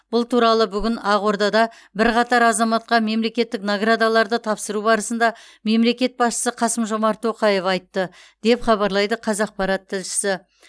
бұл туралы бүгін ақордада бірқатар азаматқа мемлекеттік наградаларды тапсыру барысында мемлекет басшысы қасым жомарт тоқаев айтты деп хабарлайды қазақпарат тілшісі